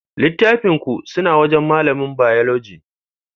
Littafin ku suna wajan malamin Bayologi